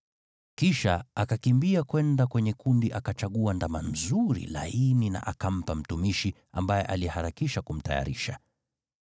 Kisha Abrahamu akakimbia kwenda kwenye kundi, akachagua ndama mzuri, laini na akampa mtumishi, ambaye aliharakisha kumtayarisha.